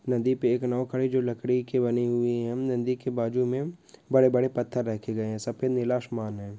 नदी पे एक नौ खाडी जो लाकडी के बने हुये हे नदी के बाजू मे बड़े बड़े पत्थर रेखा गये हे सफेद नीला आसमान हे।